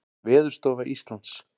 Veðurstofa Íslands.